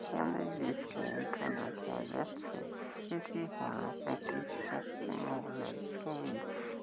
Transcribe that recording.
এখানে ডিসকাউন্ট টা দেখা যাচ্ছে এটি হল একটি শপিং মল এর ছবি ।